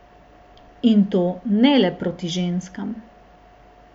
In to ne le proti ženskam.